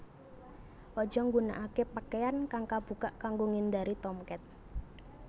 Aja nggunakaké pakaian kang kabukak kanggo ngindari Tomcat